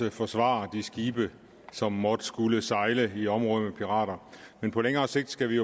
og forsvare de skibe som måtte skulle sejle i områder med pirater men på længere sigt skal vi